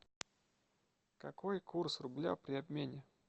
какой курс рубля при обмене